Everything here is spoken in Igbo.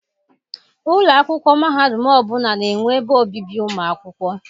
Ụlọ akwụkwọ mahadum ọbụla na-enwe ebe obibi ụmụ akwụkwọ.